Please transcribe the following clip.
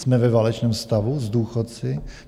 Jsme ve válečném stavu s důchodci?